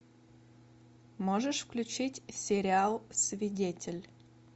можешь включить сериал свидетель